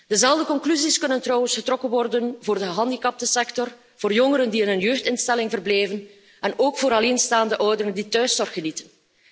Dezelfde conclusies kunnen trouwens getrokken worden voor de gehandicaptensector, voor jongeren die in een jeugdinstelling verblijven, en ook voor alleenstaande ouderen die thuiszorg genieten.